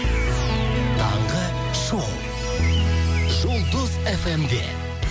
таңғы шоу жұлдыз эф эм де